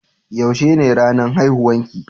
Yaushe ne ranan haihuwan ki?